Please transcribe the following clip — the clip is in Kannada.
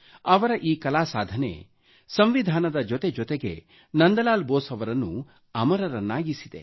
ಅವರ ಈ ಕಲಾ ಸಾಧನೆ ಸಂವಿಧಾನದ ಜೊತೆ ಜೊತೆಗೆ ನಂದಲಾಲ್ ಬೋಸ್ ಅವರನ್ನು ಅಮರರನ್ನಾಗಿಸಿದೆ